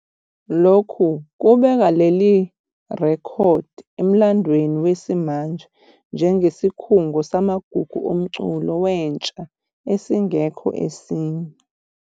Lokhu kubeka leli rekhodi emlandweni wesimanje njengesikhungo samagugu omculo wentsha esingekho esinye.